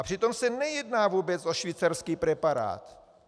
A přitom se nejedná vůbec o švýcarský preparát!